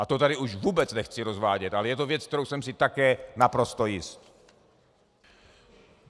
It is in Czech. A to tady už vůbec nechci rozvádět, ale je to věc, kterou jsem si také naprosto jist.